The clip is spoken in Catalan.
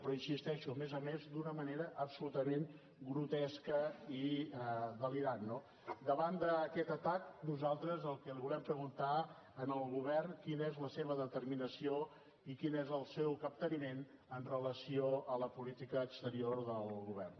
però hi insisteixo a més a més d’una manera absolutament grotesca i delirant no davant d’aquest atac nosaltres el que li volem preguntar al govern és quina és la seva determinació i quin és el seu capteniment en relació amb la política exterior del govern